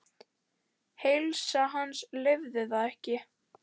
Heilsa hans leyfði það ekki.